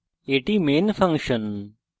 এটি আমাদের main function